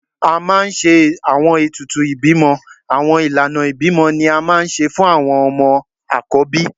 A maa n ṣe awọn etùtù ibimọ Awọn ilana ibimọ ni a maa n ṣe fun awọn ọmọ akọbí.